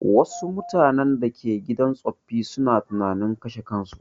Wassu mutanen da ke gidan tsoffi suna tunanin kashe kansu